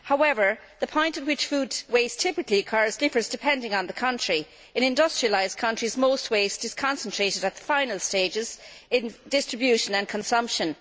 However, the points at which food waste typically occurs differ depending on the country. In industrialised countries, most waste is concentrated at the final stages, in distribution and consumption.